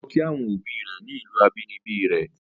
O lọ kí àwọn obi rẹ̀ ni ìlù abínibí rẹ̀.